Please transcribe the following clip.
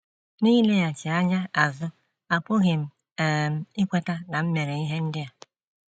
N’ileghachi anya azụ, apụghị m um ikweta na m mere ihe ndị a. ”